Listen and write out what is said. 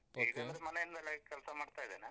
ಮನೆಯಿಂದಲೆ ಕೆಲ್ಸ ಮಾಡ್ತ ಇದ್ದೇನೆ.